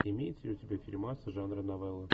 имеется ли у тебя фильмас жанра новелла